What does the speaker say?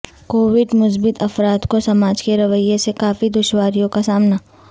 Covid مثبت افراد کو سماج کے رویہ سے کافی دشواریوں کا سامنا